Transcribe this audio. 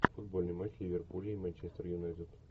футбольный матч ливерпуля и манчестер юнайтед